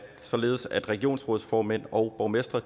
således at regionsrådsformænd og borgmestre